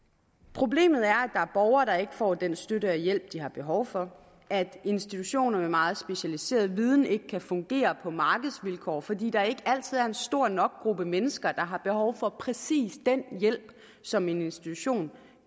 problemet er at er borgere der ikke får den støtte og hjælp de har behov for at institutioner med meget specialiseret viden ikke kan fungere på markedsvilkår fordi der ikke altid er en stor nok gruppe mennesker der har behov for præcis den hjælp som en institution